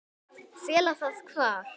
Fela það hvar?